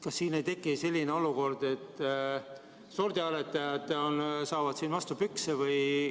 Kas siin ei teki selline olukord, et sordiaretajad saavad vastu pükse?